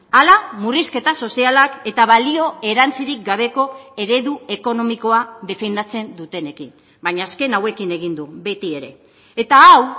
ala murrizketa sozialak eta balio erantzirik gabeko eredu ekonomikoa defendatzen dutenekin baina azken hauekin egin du beti ere eta hau